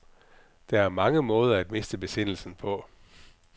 Der er mange måder at miste besindelsen på.